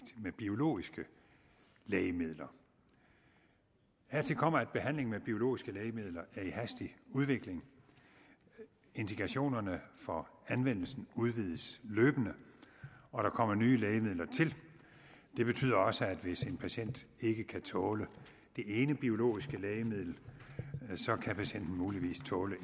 med biologiske lægemidler hertil kommer at behandlingen med biologiske lægemidler er i hastig udvikling indikationerne for anvendelsen udvides løbende og der kommer nye lægemidler til det betyder også at hvis en patient ikke kan tåle det ene biologiske lægemiddel kan patienten muligvis tåle